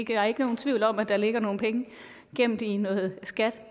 er ikke nogen tvivl om at der ligger nogle penge gemt i noget skat